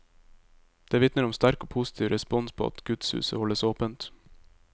Det vitner om sterk og positiv respons på at gudshuset holdes åpent.